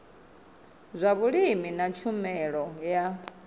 zwa vhulimi na tshumelo ya